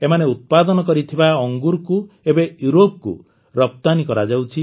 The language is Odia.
ଏମାନେ ଉତ୍ପାଦନ କରିଥିବା ଅଙ୍ଗୁରକୁ ଏବେ ୟୁରୋପକୁ ରପ୍ତାନୀ କରାଯାଉଛି